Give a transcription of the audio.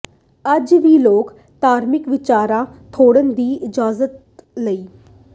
ਅੱਜ ਵੀ ਲੋਕ ਧਾਰਮਿਕ ਵਿਚਾਰ ਥੋਪਣ ਦੀ ਇਜਾਜ਼ਤ ਨਹੀ